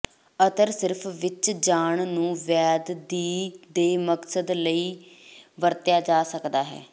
ਅਤਰ ਸਿਰਫ ਵਿਚ ਜਾਣ ਨੂੰ ਵੈਦ ਦੀ ਦੇ ਮਕਸਦ ਲਈ ਵਰਤਿਆ ਜਾ ਸਕਦਾ ਹੈ